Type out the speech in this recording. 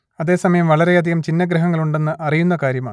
അതേ സമയം വളരെയധികം ഛിന്നഗ്രഹങ്ങളുണ്ടെന്ന് അറിയുന്ന കാര്യമാണ്